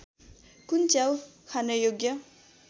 कुन च्याउ खानयोग्य